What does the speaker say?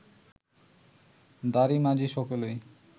দাঁড়ী মাঝি সকলেই